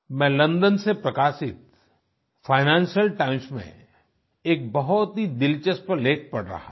मैं लोंडों से प्रकाशित फाइनेंशियल टाइम्स में एक बहुत ही दिलचस्प लेख पढ़ रहा था